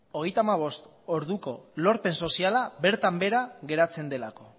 hogeita hamabost orduko lorpen soziala bertan behera geratzen delako